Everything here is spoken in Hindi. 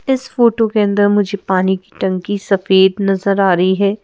इस फोटो के अंदर मुझे पानी की टंकी सफेद नजर आ रही है।